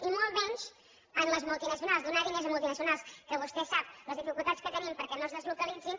i molt menys amb les multinacionals donar diners a multinacionals que vostè sap les dificultats que tenim perquè no es deslocalitzin